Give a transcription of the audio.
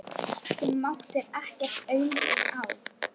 Þú máttir ekkert aumt sjá.